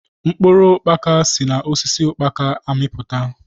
Mkpụrụ ukpaka si na osisi ukpaka amiputa.